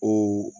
O